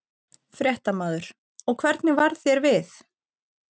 Fréttamaður: Og hvernig varð þér við?